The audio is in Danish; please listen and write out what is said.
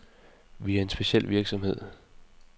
Vi er en speciel virksomhed.